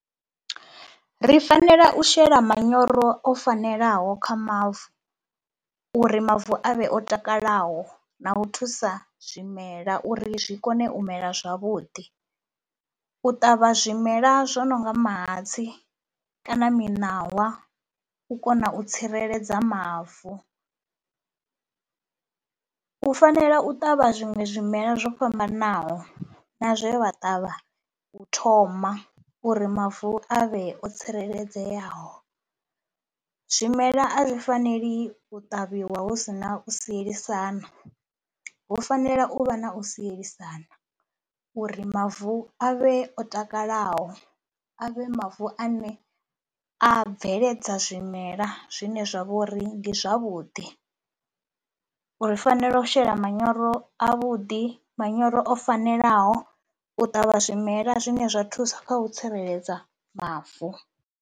Ri fanela u shela manyoro o fanelaho kha mavu uri mavu avhe o takalaho na u thusa zwimela uri zwi kone u mela zwavhuḓi. U ṱavha zwimela zwo no nga mahatsi kana miṋawa u kona u tsireledza mavu, u fanela u ṱavha zwiṅwe zwimelwa zwo fhambananaho na zwe vha ṱavha u thoma uri mavu a vhe o tsireledzeaho. Zwimela a zwi faneli u ṱavhiwa hu si na u sielisana, hu fanela u vha na u sielisana uri mavu a vhe o takalaho, a vhe mavu ane a bveledza zwimela zwine zwa vho ri ndi zwavhuḓi. U fanela u shela manyoro avhuḓi, manyoro o fanelaho u ṱavha zwimela zwine zwa thusa kha u tsireledza mavu.